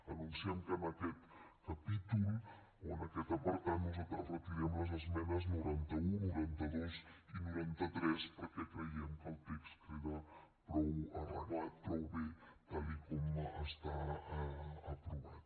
anunciem que en aquest capítol o en aquest apartat nosaltres retirem les esmenes noranta un noranta dos i noranta tres perquè creiem que el text queda prou arreglat prou bé tal com està aprovat